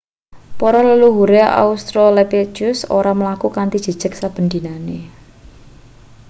para leluhure australopithecus ora mlaku kanthi jejeg saben dinane